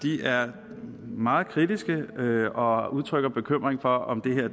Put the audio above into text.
er meget kritiske og udtrykker bekymring for om